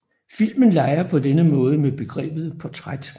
Filmen leger på denne måde med begrebet portræt